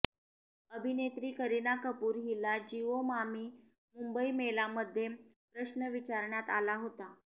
अभिनेत्री करिना कपूर हिला जिओ मामी मुंबई मेला मध्ये प्रश्न विचारण्यात आला होता